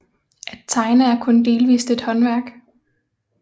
At tegne er kun delvist et håndværk